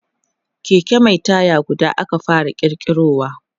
Keke Mai taya guda aka fara kirkirowa